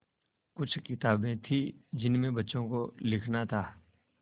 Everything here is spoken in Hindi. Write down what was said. कुछ किताबें थीं जिनमें बच्चों को लिखना था